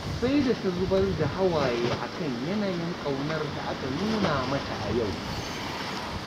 Sai da ta zubar da hawaye a kan yanayin ƙaunar da aka nuna mata a yau